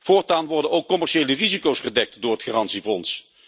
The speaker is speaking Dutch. Voortaan worden ook commerciële risico's gedekt door het garantiefonds.